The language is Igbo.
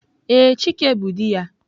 Ee, chike bu di ya.